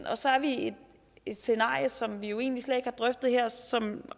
og så er vi i et scenarie som vi jo egentlig slet ikke har drøftet her